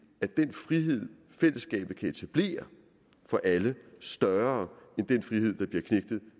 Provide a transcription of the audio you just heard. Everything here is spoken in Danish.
frihed fællesskabet kan etablere for alle større end den frihed der bliver knægtet